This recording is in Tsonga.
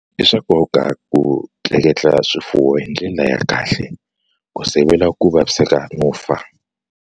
I swa nkoka ku tleketla swifuwo hi ndlela ya kahle ku sivela ku vasiveka no fa.